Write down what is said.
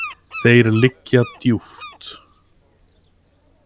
Þeir liggja djúpt.